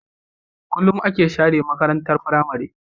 Kulun ake share makarantar pramary